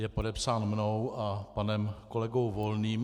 Je podepsán mnou a panem kolegou Volným.